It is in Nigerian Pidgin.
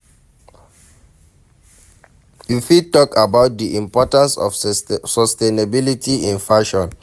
You fit talk about di importance of sustainability in fashion?